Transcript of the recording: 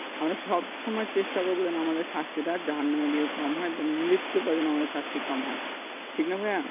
আমরা সব সময় চেষ্টা করব যেন আমাদের শাস্তিটা জাহান্নামে গিয়ে কম হয় বা মৃত্যুর পর যেন শাস্তি কম হয় ঠিক না ভাইয়া